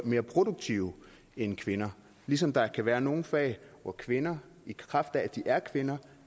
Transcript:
mere produktive end kvinder ligesom der kan være nogle fag hvor kvinder i kraft af at de er kvinder